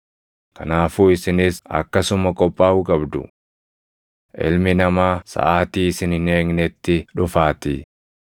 Kanaafuu isinis akkasuma qophaaʼuu qabdu; Ilmi Namaa saʼaatii isin hin eegnetti dhufaatii.